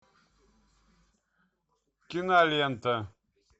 кинолента